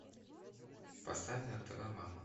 поставь на тв мама